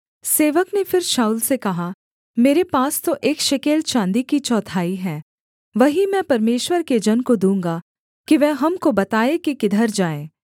सेवक ने फिर शाऊल से कहा मेरे पास तो एक शेकेल चाँदी की चौथाई है वही मैं परमेश्वर के जन को दूँगा कि वह हमको बताए कि किधर जाएँ